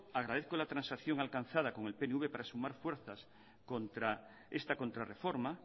agradezco la transacción alcanzada con el pnv para sumar fuerzas contra esta contrarreforma